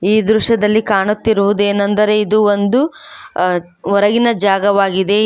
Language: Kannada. ಈ ದೃಶ್ಯದಲ್ಲಿ ಕಾಣುತ್ತಿರುವುದು ಏನೆಂದರೆ ಇದು ಒಂದು ಹೊರಗಿನ ಜಾಗವಾಗಿದೆ.